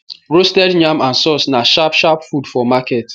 roasted yam and source na sharp sharp food for market